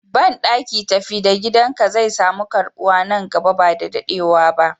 Banɗaki tafi da gidan ka zai samu karɓuwa nan gaba ba dadewa.